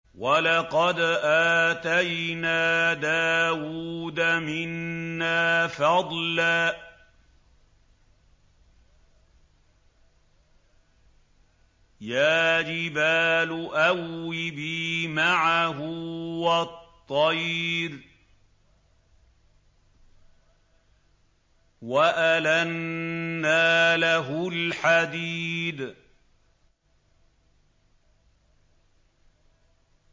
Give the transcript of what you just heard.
۞ وَلَقَدْ آتَيْنَا دَاوُودَ مِنَّا فَضْلًا ۖ يَا جِبَالُ أَوِّبِي مَعَهُ وَالطَّيْرَ ۖ وَأَلَنَّا لَهُ الْحَدِيدَ